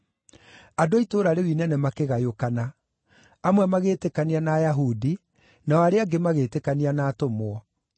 Andũ a itũũra rĩu inene makĩgayũkana; amwe magĩĩtĩkania na Ayahudi, nao arĩa angĩ magĩĩtĩkania na atũmwo.